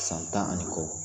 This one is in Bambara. San tan ani kɔ